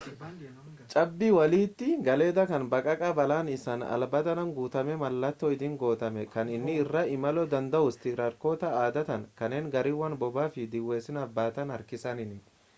cabbii walitti galedha kan baqaqaa bal'aan isaa alaabaadhaan guutamee mallattoo ittiin godhame kan inni irra imalamuu danda'us tiraaktaroota adda ta'an kanneen gaariiwwan bob'aa fi dhiheessiiwwan baatan harkisaniini